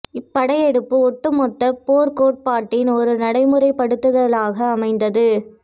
இப்படையெடுப்பு ஒட்டுமொத்தப் போர்க் கோட்பாட்டின் ஒரு நடைமுறைப் படுத்துதலாக அமைந்தது